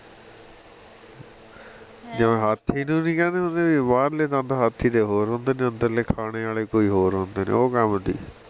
ਜਿਵੇਂ ਹਾਥੀ ਨੂੰ ਨਹੀ ਕਹਿੰਦੇ ਹੁੰਦੇ ਵੀ ਬਾਹਰਲੇ ਦੰਦ ਹਾਥੀ ਦੇ ਹੋਰ ਹੁੰਦੇ ਨੇ ਅੰਦਰਲੇ ਖਾਣੇ ਆਲੇ ਕੋਈ ਹੋਰ ਹੁੰਦੇ ਨੇ ਉਹ ਕੰਮ ਸੀ